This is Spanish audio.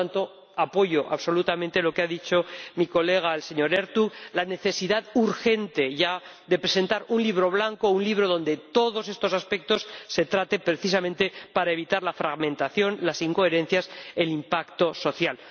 Por lo tanto apoyo absolutamente lo que ha dicho mi colega el señor Ertug, la necesidad, urgente ya, de presentar un libro blanco, un libro donde todos estos aspectos se traten precisamente para evitar la fragmentación, las incoherencias, el impacto social.